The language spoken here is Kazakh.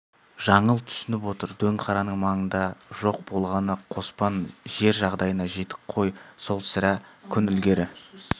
жаңыл түсініп отыр дөңқараның маңында жоқ болғаны қоспан жер жағдайына жетік қой сол сірә күн ілгері